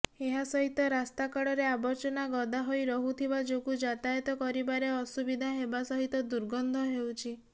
ଏହାସହିତ ରାସ୍ତାକଡ଼ରେ ଆବର୍ଜନା ଗଦା ହୋଇ ରହୁଥିବା ଯୋଗୁଁ ଯାତାୟାତ କରିବାରେ ଅସୁବିଧା ହେବା ସହିତ ଦୁର୍ଗନ୍ଧ ହେଉଛି